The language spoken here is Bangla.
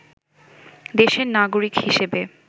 দেশের নাগরিক হিসেবে